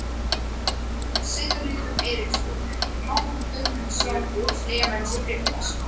Sigríður Eiríksdóttir, Hákon Guðmundsson, Klemens Tryggvason